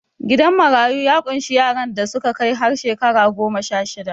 Gidan marayu ya ƙunshi yaran da suka kai har shekara goma-sha-shida